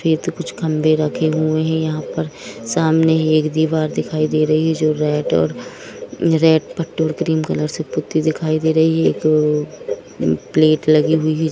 कुछ खंभे रखे हुए हैं यहां पर सामने एक दीवार दिखाई दे रही है जो रेड और रेड पर पेट्रोल क्रीम कलर से पुती दिखाई दे रही है तो प्लेट लगी हुई है।